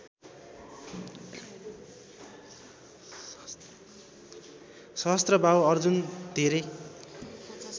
सहस्त्रबाहु अर्जुन धेरै